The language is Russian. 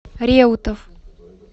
реутов